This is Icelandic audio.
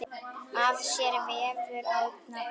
Að sér vefur Árna betur